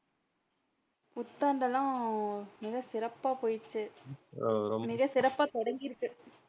புத்தாண்டு எல்லாம் மிக சிறப்பா போச்சு மிக சிறப்பா தொடங்கி இருக்கு.